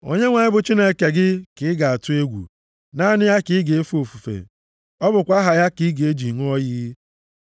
Onyenwe anyị bụ Chineke gị, ka ị ga-atụ egwu, naanị ya ka ị ga-efe ofufe, ọ bụkwa aha ya ka ị ga-eji ṅụọ iyi.